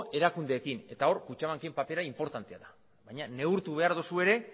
erakundeekin eta hor kutxabanken papera inportantea da baina neurtu behar duzu ere